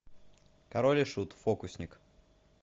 король и шут фокусник